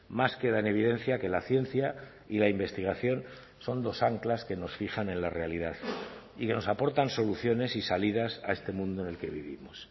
más queda en evidencia que la ciencia y la investigación son dos anclas que nos fijan en la realidad y que nos aportan soluciones y salidas a este mundo en el que vivimos